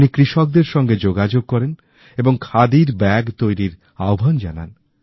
উনি কৃষকদেরসাথে যোগাযোগ করেন এবং খাদির ব্যাগ তৈরির আহ্বান জানান